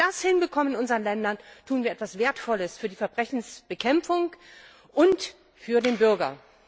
Wenn wir das in unseren Ländern hinbekommen, tun wir etwas Wertvolles für die Verbrechensbekämpfung und für den Bürger.